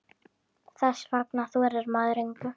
Þess vegna þorir maður engu.